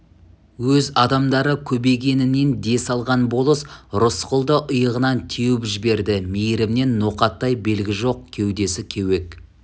өз адамдары көбейгенінен дес алған болыс рысқұлды иығынан теуіп жіберді мейірімнен ноқаттай белгі жоқ кеудесі кеуек